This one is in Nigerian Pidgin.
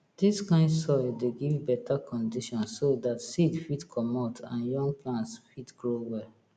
dis kind soil dey give beta condition so dat seed fit comot and young plants fit grow well